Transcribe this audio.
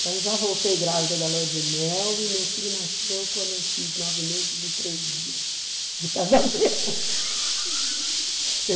Então já voltei grávida da lua de mel e meu filho nasceu quando eu fiz nove meses e três dias de casamento. Eu